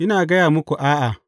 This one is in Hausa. Ina gaya muku, a’a!